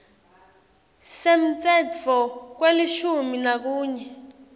semtsetfo welishumi nakunye